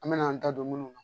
An mɛna an da don munnu na